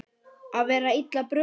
Að vera illa brugðið